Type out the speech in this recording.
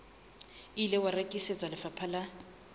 ile wa rekisetswa lefapha la